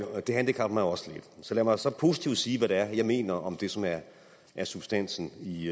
og det handicapper mig også lidt lad mig så positivt sige hvad det er jeg mener om det som er er substansen i